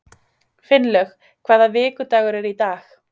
Finnlaug, hvaða vikudagur er í dag?